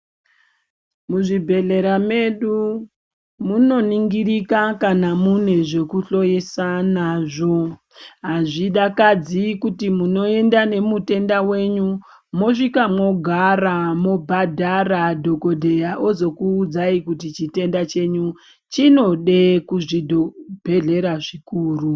Muzvibhehlera mwedu munoningirika kana mune zvekuhloyisa nazvo azvidakadzi kuti munoenda nemutenda wenyu mosvika mogara mobhadhara dhokodheya ozokuudzayi kuti chitenda chenyu chinode kuzvibhehlera zvikuru.